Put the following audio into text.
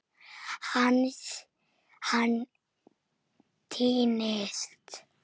Hann týnist.